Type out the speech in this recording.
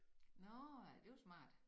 Nåh ja det var smart